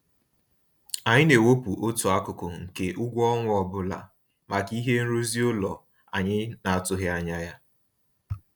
Anyị na-ewepụ otu akụkụ nke ụgwọ ọnwa ọbụla maka ihe nrụzi ụlọ anyị n'atụghị anya ya.